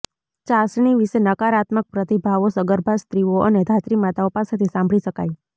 ચાસણી વિશે નકારાત્મક પ્રતિભાવો સગર્ભા સ્ત્રીઓ અને ધાત્રી માતાઓ પાસેથી સાંભળી શકાય